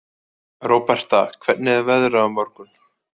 Róberta, hvernig er veðrið á morgun?